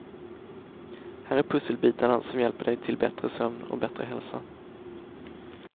Här är pusselbitarna som hjälper dig till bättre sömn och bättre hälsa.